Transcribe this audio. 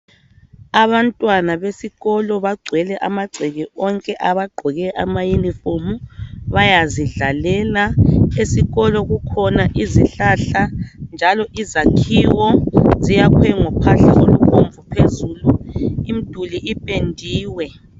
Abantwana besikolo bagcwele amagceke onke .Bagqoke ama uniform, bayazidlalela esikolo kukhona izihlahla njalo izakhiwo ziyakhwe ngophahla olubomvu phezulu. Imiduli ipendiwe.